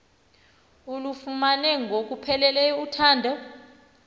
ulufumene ngokupheleleyo uthando